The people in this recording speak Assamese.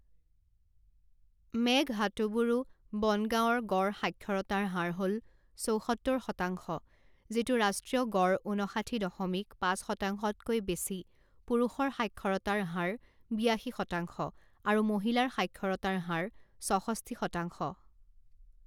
মেঘহাটুবুৰু বন গাঁৱৰ গড় সাক্ষৰতাৰ হাৰ হ'ল চৌসত্তৰ শতাংশ যিটো ৰাষ্ট্ৰীয় গড় ঊনষাঠি দশমিক পাঁচ শতাংশতকৈ বেছি পুৰুষৰ সাক্ষৰতাৰ হাৰ বিয়াশী শতাংশ আৰু মহিলাৰ সাক্ষৰতাৰ হাৰ ছষষ্ঠি শতাংশ।